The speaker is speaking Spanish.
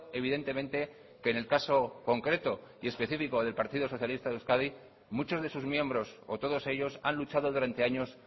evidentemente que en el caso concreto y especifico del partido socialista de euskadi muchos de sus miembros o todos ellos han luchado durante años